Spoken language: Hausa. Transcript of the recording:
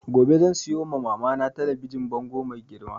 Gobe zan siyo ma mama na talabijin bango mai girma